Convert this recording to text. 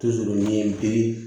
Dusukun ɲɛ bilen